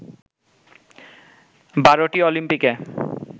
বারোটি অলিম্পিকে